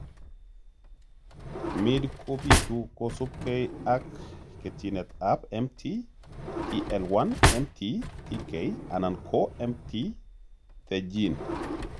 Midd kobitu kosubkei ak ketchinetab mt tl1, mt tk, anan ko mt te gene.